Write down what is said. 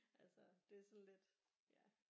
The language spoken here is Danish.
Altså det er sådan lidt ja